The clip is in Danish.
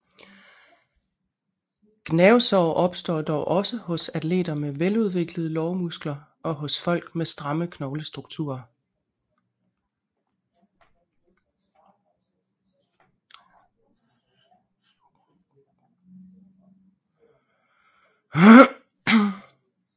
Gnavsår opstår dog også hos atleter med veludviklede lårmuskler og hos folk med stramme knoglestrukturer